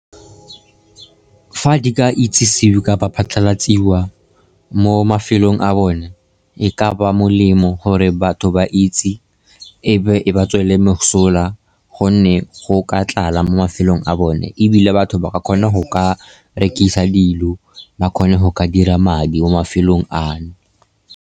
Fa di ka itsisiwe kapa diphatlalatsiwa mo mafelong a bone, e ka ba molemo gore batho ba itse, ebe e ba tswele le mosola, gonne go ka tlala mo mafelong a bone, ebile batho ba ka kgona go ka rekisa dilo, ba kgone go ka dira madi mo mafelong a no.